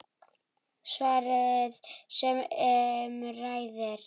Svarið sem um ræðir